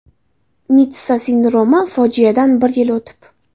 Nitssa sindromi: fojiadan bir yil o‘tib .